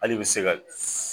Hal'i be se ka s